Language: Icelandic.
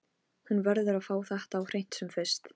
Hún verður að fá þetta á hreint sem fyrst.